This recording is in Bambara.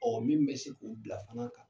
Ɔɔ min be se k'u bila fana kan